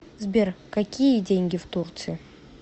сбер какие деньги в турции